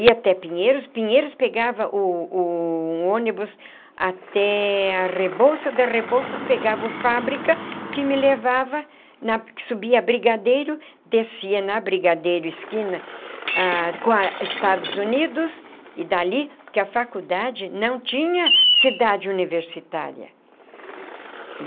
Ia até Pinheiros, Pinheiros pegava o o ônibus até a Rebouças, da Rebouças pegava o Fábrica, que me levava na, que subia Brigadeiro, descia na Brigadeiro, esquina, ah com a Estados Unidos, e dali, porque a faculdade não tinha cidade universitária.